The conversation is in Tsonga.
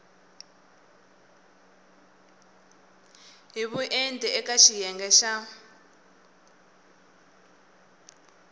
hi vuenti eka xiyenge xa